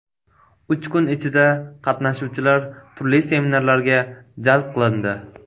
Uch kun ichida, qatnashuvchilar turli seminarlarga jalb qilindi.